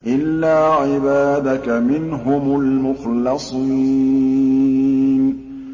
إِلَّا عِبَادَكَ مِنْهُمُ الْمُخْلَصِينَ